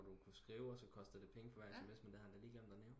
Hvor du kunne skrive og så kostede det for hver SMS det havde han da lige glemt at nævne